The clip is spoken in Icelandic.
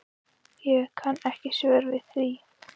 Ég kann ekki svör við því.